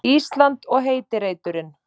Ísland og heiti reiturinn.